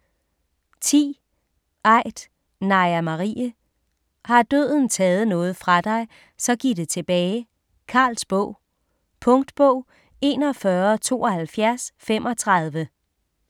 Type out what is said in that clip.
10. Aidt, Naja Marie: Har døden taget noget fra dig så giv det tilbage: Carls bog Punktbog 417235